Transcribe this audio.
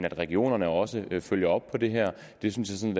at regionerne også følger op på det her det synes jeg